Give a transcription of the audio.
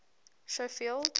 schofield